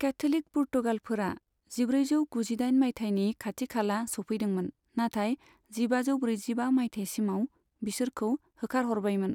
Catholic पुर्तगालफोरा जिब्रैजौ गुजिदाइन मायथाइनि खाथिखाला सौफैदोंमोन, नाथाय जिबाजौ ब्रैजिबा मायथाइसिमाव बिसोरखौ होखारहरबायमोन।